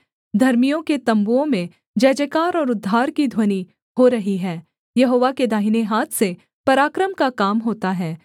धर्मियों के तम्बुओं में जयजयकार और उद्धार की ध्वनि हो रही है यहोवा के दाहिने हाथ से पराक्रम का काम होता है